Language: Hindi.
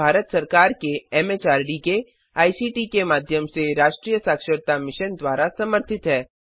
यह भारत सरकार के एमएचआरडी के आईसीटी के माध्यम से राष्ट्रीय साक्षरता मिशन द्वारा समर्थित है